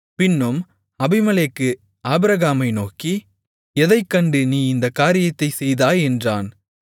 பின்னும் அபிமெலேக்கு ஆபிரகாமை நோக்கி எதைக் கண்டு நீ இந்தக் காரியத்தைச் செய்தாய் என்றான்